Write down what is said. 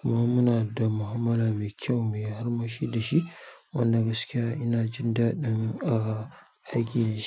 kuma muna da mu'amala mai kyau mai arma shi da shi. Wanda gaskiya ina jin daɗin a aiki da shi.